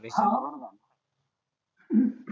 आह अं